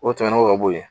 O tɛmɛnen kɔ ka bɔ yen